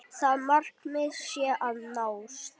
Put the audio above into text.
Það markmið sé að nást.